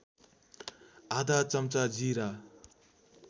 आधा चम्चा जीरा